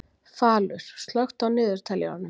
Falur, slökktu á niðurteljaranum.